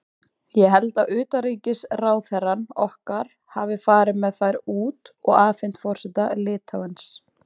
Ég held að utanríkisráðherrann okkar hafi farið með þær út og afhent forseta Litháens.